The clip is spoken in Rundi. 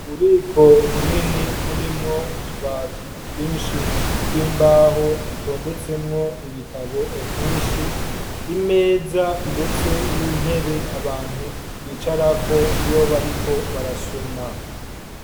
Ububiko bunini burimwo utubati twinshi tw'imbaho dutondetsemwo ibitabo vyinshi, imeza ndetse n'intebe abantu bicarako iyo bariko barasoma.